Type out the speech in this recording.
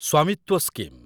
Svamitva scheme